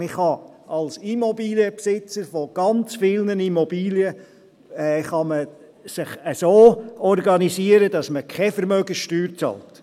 Man kann sich als Immobilienbesitzer ganz vieler Immobilien so organisieren, dass man keine Vermögenssteuern bezahlt.